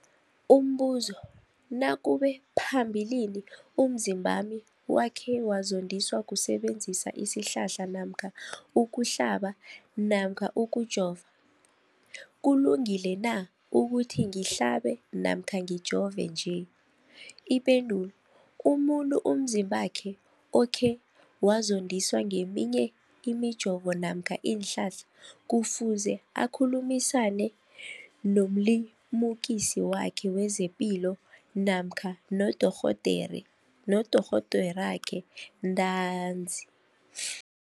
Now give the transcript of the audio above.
Umbuzo, nakube phambilini umzimbami wakhe wazondiswa kusebenzisa isihlahla namkha ukuhlaba namkha ukujova, kulungile na ukuthi ngihlabe namkha ngijove nje? Ipendulo, umuntu umzimbakhe okhe wazondiswa ngeminye imijovo namkha iinhlahla kufuze akhulumisane nomlimukisi wakhe wezepilo namkha nodorhoderakhe ntanzi.